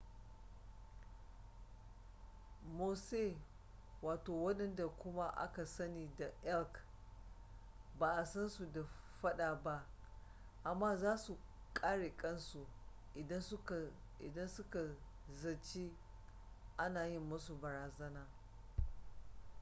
mosse wandanda kuma aka sani da elk ba a san su da faɗa ba amma za su kare kansu idan suka zaci ana yi musu barazana